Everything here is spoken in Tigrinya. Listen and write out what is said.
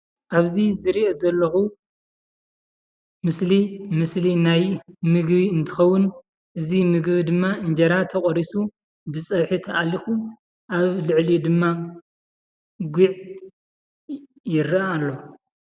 ኣብዚ ዝሪኦ ዘለኩ ምስሊ ምስሊ ናይ ምግቢ እንትከውን እዚ ምግቢ ድማ እንጀራ ተቆሪሱ ፀብሒ ተኣሊኩ ኣብ ልዕሊኡ ድማ ጉዕ ይረአ ኣሎ።